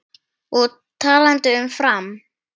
Og talandi um Fram.